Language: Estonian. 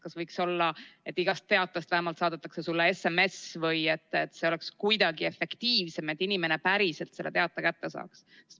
Kas võiks olla, et iga teate kohta vähemalt saadetaks sulle SMS, või et see oleks kuidagi efektiivsem, nii et inimene päriselt selle teate kätte saaks?